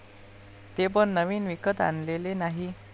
ते पण नवीन विकत आणलेले नाही.